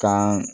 Kan